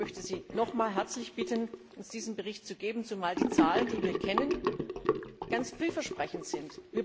Ich möchte Sie nochmals herzlich bitten, uns diesen Bericht zu geben, zumal die Zahlen, die wir kennen, ganz vielversprechend sind.